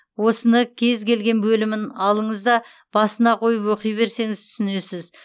осыны кез келген бөлімін алыңыз да басына қойып оқи берсеңіз түсінесіз